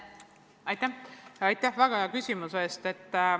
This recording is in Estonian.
Aitäh väga hea küsimuse eest!